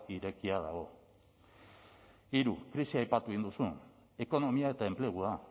irekia dago hiru krisia aipatu egin duzu ekonomia eta enplegua